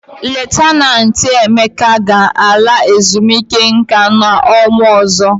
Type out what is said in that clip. Leftanantị Emeka ga-ala ezumike nka n'ọnwa ọzọ.